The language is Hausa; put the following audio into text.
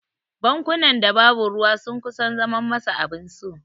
Bankunan da babu ruwa sun kusan zaman masa abin so.